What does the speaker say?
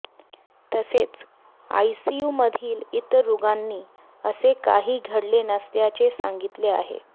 तसेच आयसीयूमधील इतर रुगांनी असे काही घडले नसल्याचे सांगितले आहे